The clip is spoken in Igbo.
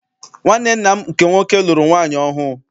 Nwanne nna m nke nwoke lụrụ nwaanyị ọhụụ.